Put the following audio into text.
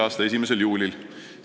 a 1. juulil.